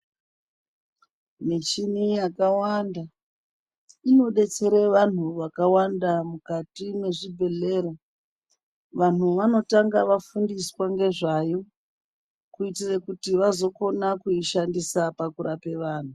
Mishini yakawanda inodetsere vanhu vakawanda mukati mezvibhedhlera. Vanhu vanotanga vafundiswa ngezvayo kuti vazokone kuyishandisa pakurape vanhu.